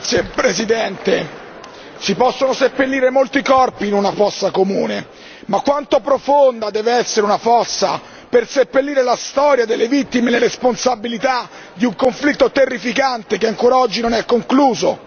Signor Presidente, onorevoli colleghi, si possono seppellire molti corpi in una fossa comune, ma quanto profonda deve essere una fossa per seppellire la storia delle vittime e le responsabilità di un conflitto terrificante che ancora oggi non è concluso?